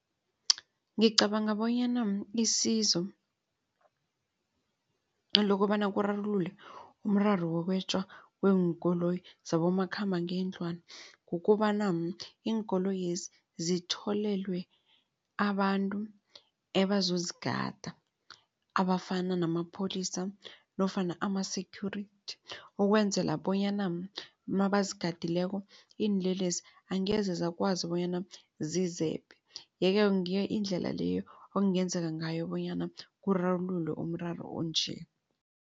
Ngicabanga bonyana isizo lokobana kurarululwe umraro wokwetjwa kweenkoloyi zabomakhambangendlwana. Kukobana iinkoloyezi zitholelwe abantu ebazozigada abafana namapholisa nofana ama-security ukwenzela bonyana mabazigadileko iinlelesi angeze zakwazi bonyana zizebe. Yeke ngiyo indlela leyo okungenzeka ngayo bonyana kurarululwe umraro onje.